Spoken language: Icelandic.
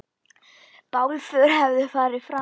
Bálför hefur farið fram.